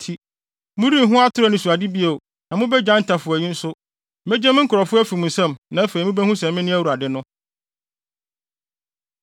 nti, morenhu atoro anisoade bio na mubegyae ntafowayi nso. Megye me nkurɔfo afi mo nsam na afei mubehu sɛ me ne Awurade no.’ ”